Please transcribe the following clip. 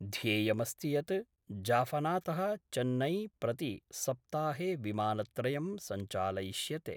ध्येयमस्ति यत् जाफनातः चेन्नईं प्रति सप्ताहे विमानत्रयं संचालयिष्यते।